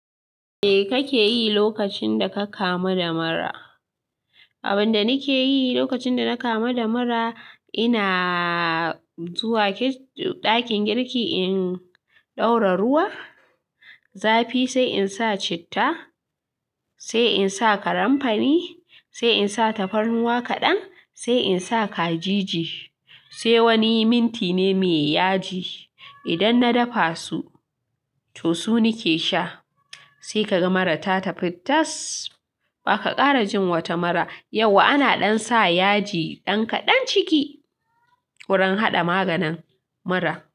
Me kake yi lokacin da ka kama da mura? Abin da nake yi lokacin da na kama da mura, ina zuwa ɗakin girki in ɗora ruwa, zafi sai in sa citta, sai in sa karamfani, sai in sa tafarnuwa kaɗan, sai in sa kajiji, sai wani minti ne muyi yaji. Idan na dafa su, to su nake sha. Sai ka ga mura ta tafi tas. Ba ka ƙara jin wata mura. Yauwa ana dansa yaji dan kadan ciki wurin hada maganin mura.